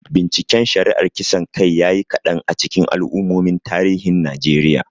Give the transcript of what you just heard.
Binciken shari'ar kisan kai ya yi kadan a cikin al'ummomin tarihin Najeriya.